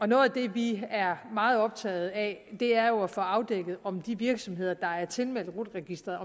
vi er meget optaget af er jo at få afdækket om de virksomheder der er tilmeldt rut registeret